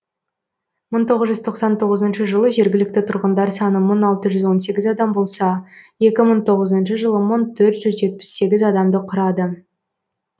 бір мың тоғыз жүз тоқсан тоғызыншы жылы жергілікті тұрғындар саны мың алты жүз он сегіз адам болса екі мың тоғызыншы жылы мың төрт жүз жетпіс сегіз адамды құрады